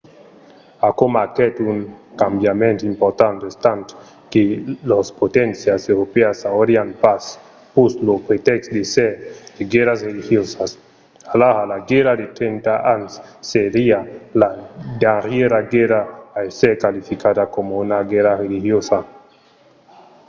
aquò marquèt un cambiament important estant que las poténcias europèas aurián pas pus lo pretèxt d'èsser de guèrras religiosas. alara la guèrra de trenta ans seriá la darrièra guèrra a èsser qualificada coma una guèrra religiosa